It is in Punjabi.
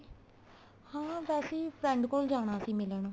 ਹਾਂ ਵੈਸੇ ਈ friend ਕੋਲ ਜਾਣਾ ਸੀ ਮਿਲਣ